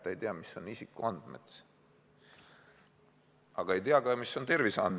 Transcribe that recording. Ta ei tea, mis on isikuandmed, ja ta ei tea ka seda, mis on terviseandmed.